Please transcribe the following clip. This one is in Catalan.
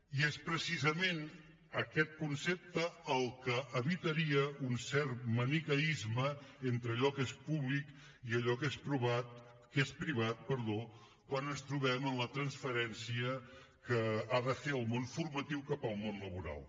i és precisament aquest concepte el que evitaria un cert maniqueisme entre allò que és públic i allò que és privat quan ens trobem en la transferència que ha de fer el món formatiu cap al món laboral